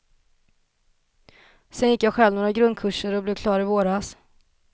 Sedan gick jag själv några grundkurser och blev klar i våras.